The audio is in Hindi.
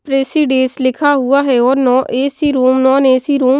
प्रेसीडेस लिखा हुआ है और no A C room non A C room --